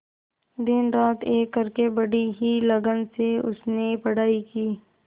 दिनरात एक करके बड़ी ही लगन से उसने पढ़ाई की